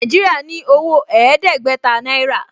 Nàìjíríà ní owó ẹ̀ẹ́dẹ́gbẹ̀ta náírà